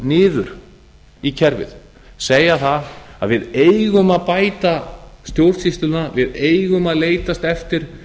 niður í kerfið segja það að við eigum að bæta stjórnsýsluna við eigum að leitast eftir